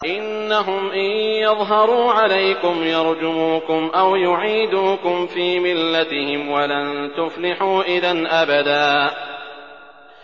إِنَّهُمْ إِن يَظْهَرُوا عَلَيْكُمْ يَرْجُمُوكُمْ أَوْ يُعِيدُوكُمْ فِي مِلَّتِهِمْ وَلَن تُفْلِحُوا إِذًا أَبَدًا